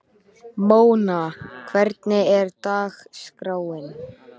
Mona, hvernig er dagskráin?